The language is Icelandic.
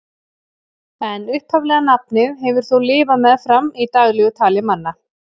En upphaflega nafnið hefur þó lifað meðfram í daglegu tali manna.